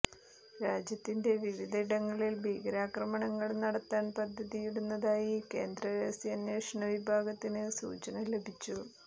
രാജ്യത്തിന്റെ വിവിധ ഇടങ്ങളിൽ ഭീകരാക്രമണങ്ങൾ നടത്താൻ പദ്ധതിയിടുന്നതായി കേന്ദ്ര രഹസ്യാന്വേഷണ വിഭാഗത്തിന് സൂചന ലഭിച്ചു